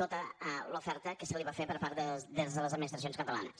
tota l’oferta que se li va fer des de les administracions catalanes